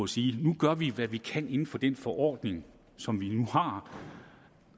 sige nu gør vi hvad vi kan inden for den forordning som vi nu har og